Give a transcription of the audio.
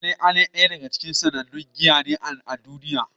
Pale Ale daya ce daga cikin sannannun giya a duniya.